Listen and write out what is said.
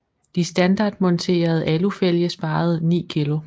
De standardmonterede alufælge sparede 9 kg